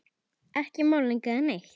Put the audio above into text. Ekki málning eða neitt.